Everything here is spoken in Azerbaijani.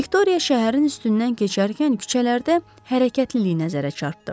Viktoriya şəhərin üstündən keçərkən küçələrdə hərəkətliliyi nəzərə çarptdı.